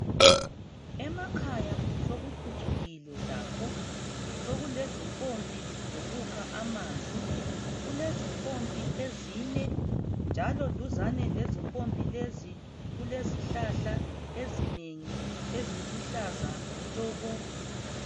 Emakhaya sokuphuncukile lakho sokulezimpompi zokukha amanzi. Kulezimpompi ezine njalo duzane lezimpompi lezi kulezihlahla ezinengi eziluhlaza tshoko.